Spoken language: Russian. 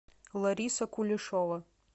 лариса кулешова